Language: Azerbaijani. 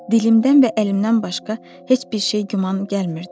Dilimdən və əlimdən başqa heç bir şey güman gəlmirdi.